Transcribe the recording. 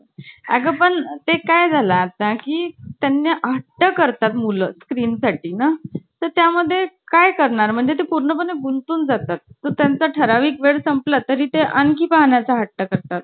आणि तेव्हा एकदा madam नी वगैरे काही सांगितलं ना आपल्याला दाखवायला तर आपल्याला भारी वाटायचं ना. madam नी मला सांगितलं आहे बसवायला एकदम मस्त सगळ्याजागी त्यालाच असच म्हंटल तुझा madam नी मला दाखवायला सांगितलंय तुला